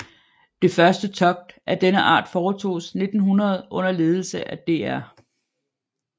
Det første togt af denne art foretoges 1900 under ledelse af dr